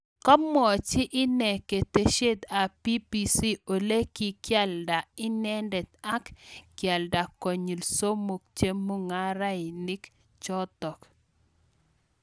Kamwochii inee keteshet ab BBC olee kikialdaa inendet ak kealdaa konyil somok chemung'arainik chotok